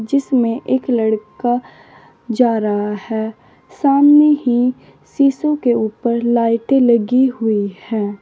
इसमें एक लड़का जा रहा है सामने ही शीशों के ऊपर लाइटें लगी हुई हैं।